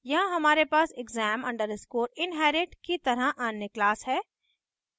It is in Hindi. यहाँ हमारे पास exam _ inherit की तरह अन्य class है